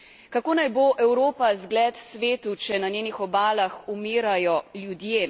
Kako naj bo Evropa zgled svetu, če na njenih obalah umirajo ljudje?